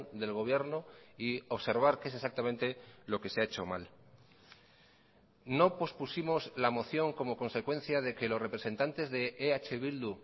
del gobierno y observar qué es exactamente lo que se ha hecho mal no pospusimos la moción como consecuencia de que los representantes de eh bildu